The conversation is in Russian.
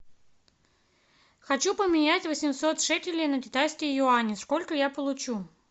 хочу поменять восемьсот шекелей на китайские юани сколько я получу